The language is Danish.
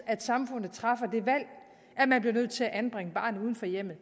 at samfundet træffer det valg at man bliver nødt til at anbringe barnet uden for hjemmet